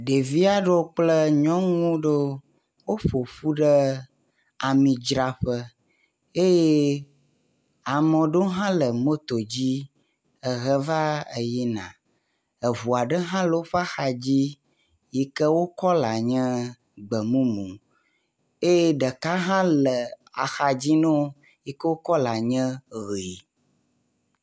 Ɖevi aɖewo kple nyɔnu ɖewo, woƒoƒu ɖe amidzraƒe eye ame ɖe hã le moto dzi eheva yina, eŋu aɖewo hã le woƒe axadzi yike wo kɔla nye gbemumu eye ɖeka hã le axadzi ne wo yike wo kɔla nye ʋɛ̃.